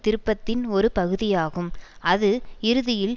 திருப்பத்தின் ஒரு பகுதியாகும் அது இறுதியில்